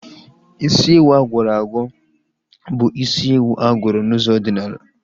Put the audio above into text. Isi ewu agwọrọ agwọ bụ isi ewu agwọrọ n'ụzọ ọdịnala